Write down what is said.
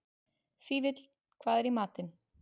Fífill, hvað er í matinn?